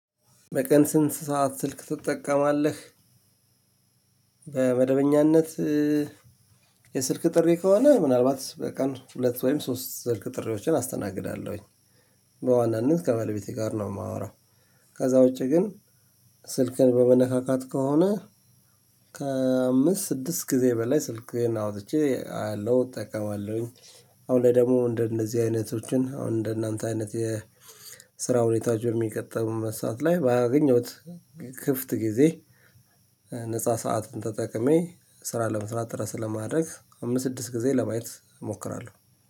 በቀን ስንት ሰዓት ስልክ ትጠቀማለህ? በመደበኛነት የስልክ ጥሪ ከሆነ ምናልባት በቀን ሁለት ወይም ሶስት ስልክ ጥሪዎችን አስተናግዳለሁኝ። በዋናነት ከባለቤቴ ጋር ነው የማወራው። ከዛ ውጪ ግን ስልክን በመነካካት ከሆነ ከአምስት ስድስት ጊዜ በላይ ስልኬን አውጥቼ አያለሁ እጠቀማለሁኝ። አሁን ላይ ደግሞ እንደነዚህ አይነቶችን አሁን እንደናንተ አይነት የስራ ሁኔታዎች በሚቀጥሉት መስራት ላይ ባገኘሁት ክፍት ጊዜ ነፃ ሰዓትን ተጠቅሜ ስራ ለመስራት ድረስ ለማድረግ አምስት ስድስት ጊዜ ለማየት እሞክራለሁ።